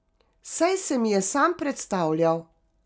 Saj se mi je sam predstavljal.